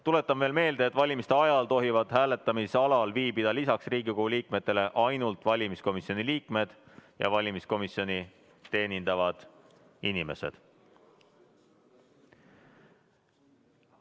Tuletan veel meelde, et valimise ajal tohivad hääletamisalal viibida lisaks Riigikogu liikmetele ainult valimiskomisjoni liikmed ja valimiskomisjoni teenindavad inimesed.